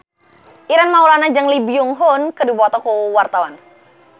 Ireng Maulana jeung Lee Byung Hun keur dipoto ku wartawan